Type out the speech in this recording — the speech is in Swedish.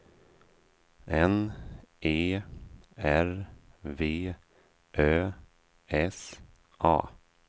N E R V Ö S A